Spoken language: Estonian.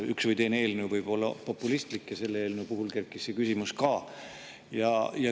Üks või teine eelnõu võib olla populistlik ja selle eelnõu puhul kerkis samuti see küsimus.